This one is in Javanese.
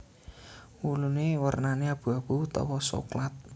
Wulune wernane abu abu utawa soklat